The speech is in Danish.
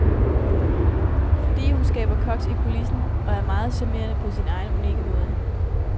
Fordi hun skaber koks i kulissen, og er meget charmerende på sin egen unikke måde.